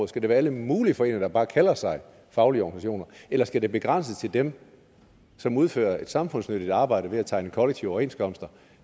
skal være alle mulige foreninger der bare kalder sig faglige organisationer eller skal det begrænses til dem som udfører et samfundsnyttigt arbejde ved at tegne kollektive overenskomster